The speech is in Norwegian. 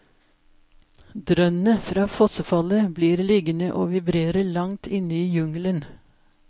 Drønnet fra fossefallet blir liggende å vibrere langt inne i jungelen.